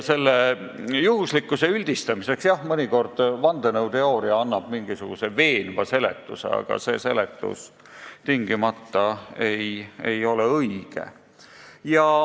Selle juhuslikkuse üldistamiseks, jah, annab vandenõuteooria mõnikord mingisuguse veenva seletuse, aga see seletus ei ole tingimata õige.